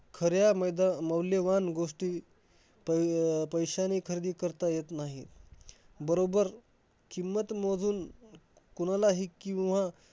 खऱ्या मैदा~ मौल्यवान गोष्टी पै~ पैशाने खरेदी करता येत नाही. बरोबर, किंमत मोजून कोणालाही किंवा